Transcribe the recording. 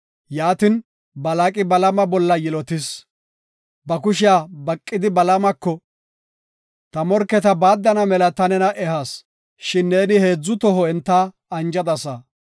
Yaatin, Balaaqi Balaama bolla yilotis. Ba kushiya baqidi Balaamako, “Ta morketa baaddana mela ta nena ehas, shin neeni heedzu toho enta anjadasa.